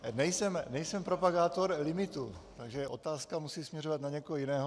Nejsem propagátor limitů, takže otázka musí směřovat na někoho jiného.